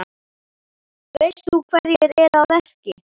Veist þú hverjir eru að verki?